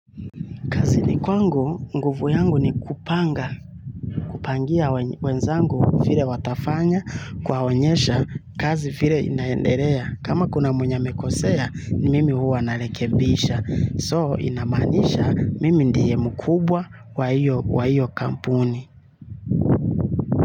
Ni kwangu nguvu yangu ni kupanga kupangia wenzangu vile watafanya kuwaonyesha kazi vile inaendelea. Kama kuna mwenye amekosea, mimi huwa narekebisha. So, inamanisha mimi ndiye mkubwa wa hio kampuni.